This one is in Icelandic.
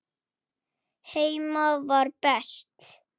Heima var best.